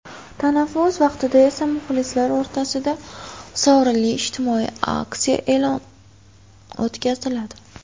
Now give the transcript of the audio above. Tanaffus vaqtida esa muxlislar o‘rtasida sovrinli ijtimoiy aksiya o‘tkaziladi.